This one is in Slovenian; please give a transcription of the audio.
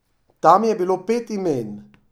Tam je bilo pet imen.